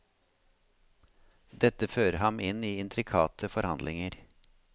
Dette fører ham inn i intrikate forhandlinger.